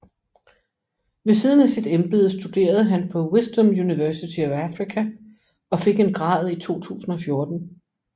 Ved siden af sit embede studerede han på Wisdom University of Africa og fik en grad i 2014